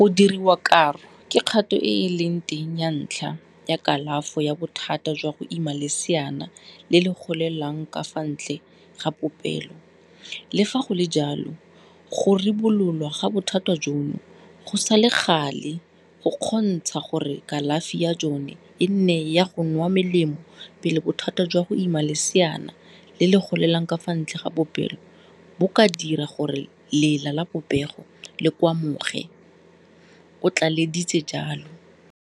Go diriwa karo ke kgato e e leng teng ya ntlha ya kalafo ya bothata jwa go ima leseana le le golelang ka fa ntle ga popelo, le fa go le jalo, go ribololwa ga bothata jono go sa le gale go kgontsha gore kalafi ya jone e nne ya go nwa melemo pele bothata jwa go ima leseana le le golelang ka fa ntle ga popelo bo ka dira gore lela la popelo le kgwamoge, o tlaleleditse jalo.